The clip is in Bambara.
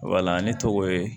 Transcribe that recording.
Wala ne tɔgɔ ye